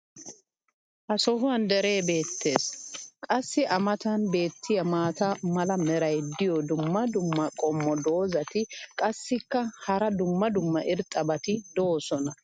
Ha sohuwan deree beetees. qassi a matan beetiya maata mala meray diyo dumma dumma qommo dozzati qassikka hara dumma dumma irxxabati doosona.